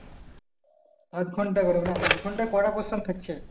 আধ ঘন্টা করে। মানে আধ ঘন্টায় কয়টা প্রশ্ন থাকছে?